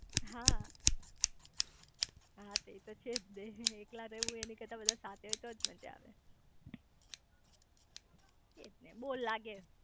હા તે એતો છેજ ને એકલા રેવું એની કરતા બધા સાથે હોય તોજ મજા આવે એજ ને બોર લાગે